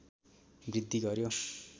वृद्धि गर्‍यो